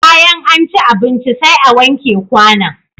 Bayan an ci abinci sai a wanke kwanon.